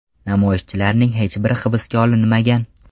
Namoyishchilarning hech biri hibsga olinmagan.